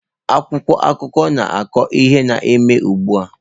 Akwụkwọ akụkọ na-akọ ihe na-eme ugbu a.